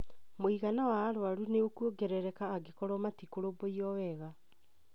mũigana wa arũaru ni ũkũongerereka angĩkorwo matikũrũmbũiyo wega.